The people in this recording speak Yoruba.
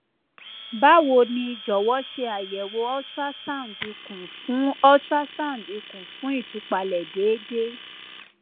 bawo ni jọwọ ṣe ayẹwo ultrasound ikun fun ultrasound ikun fun itupalẹ deede